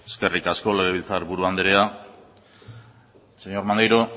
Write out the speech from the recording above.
eskerrik asko legebiltzarburu andrea señor maneiro